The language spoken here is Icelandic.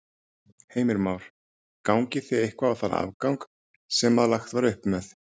Heimir Már: Gangið þið eitthvað á þann afgang sem að lagt var upp með?